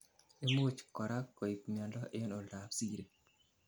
imuch korak koib miondo eng oldap siri